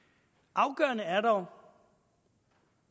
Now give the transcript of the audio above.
afgørende er dog